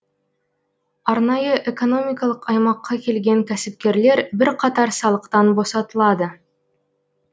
арнайы экономикалық аймаққа келген кәсіпкерлер бірқатар салықтан босатылады